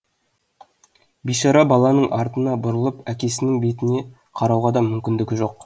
бейшара баланың артына бұрылып әкесінің бетіне қарауға да мүмкіндігі жоқ